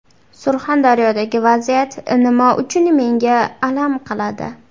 Surxondaryodagi vaziyat nima uchun menga alam qiladi?